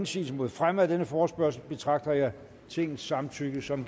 indsigelse mod fremme af denne forespørgsel betragter jeg tingets samtykke som